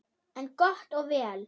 En gott og vel.